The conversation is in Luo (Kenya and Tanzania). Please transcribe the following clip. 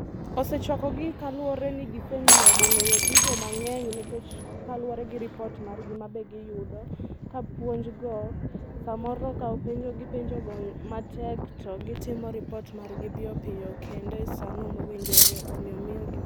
Osechoko gi kaluore ni gisemedo ngeyo gigo mangeny nikech kaluore gi ripot margi maber giyudo ka puonj go samoro ka openjo gi penjo go mapek to gitimo ripot margi piyo piyo kendo e sano mowinjore omiyo miyo gi